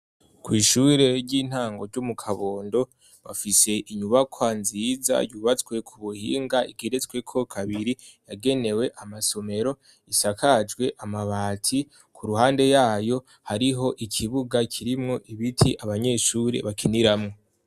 Kw'ishure ry'intango ry'umu kabondo bafise inyubakwa nziza yubatswe ku buhinga igeretsweko kabiri yagenewe amasomero isakajwe amabati ku ruhande yayo hariho ikibuga kirimwo ibiti abanyeshuri bakiniramwo.